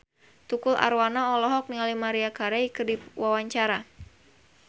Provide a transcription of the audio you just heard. Tukul Arwana olohok ningali Maria Carey keur diwawancara